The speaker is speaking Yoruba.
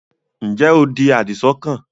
ǹjẹ́ o di àdìsọ́kàn?